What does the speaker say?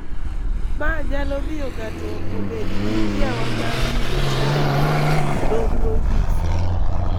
ma nyalo miyo ng�ato obed gi kiawa mar yudo chanjo, nonrono nyiso.